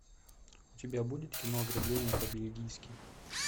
у тебя будет кино ограбление по бельгийски